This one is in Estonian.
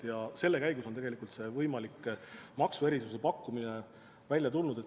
Selle töö käigus on tegelikult see võimaliku maksuerisuse pakkumine välja tulnud.